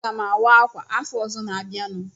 Aga m awa ákwà afọ ọzọ na-abịanụ.